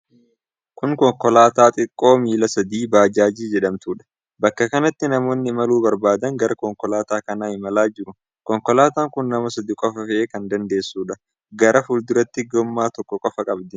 Kun konkolaataa xiqqoo miila sadii baajaajii jedhamtuudha. Bakka kanatti namoonni imaluu barbaadan gara konkolaataa kanaa imalaa jiru. Konkolaataan kun nama sadi qofa fe'uu kan dandeessudha. Gara fuulduraatii gommaa tokko qofa qabdi.